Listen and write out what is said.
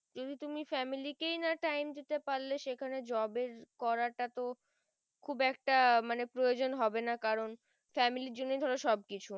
যদি তুমি family কেই না time দিতে পারলে সেখানে job এর করা তা তো খুব একটা মানে প্রয়োজন হবে না কারণ family জন্য ধরো সব কিছু